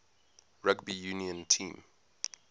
rugby union team